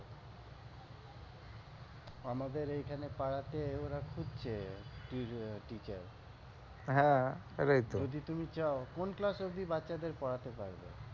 আমাদের এখানে পাড়াতে ওরা খুব teacher হ্যাঁ সেটাইতো যদি তুমি চাও কোন class অব্দি বাচ্চাদের পড়াতে পারবে?